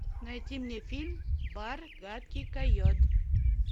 найти мне фильм бар гадкий койот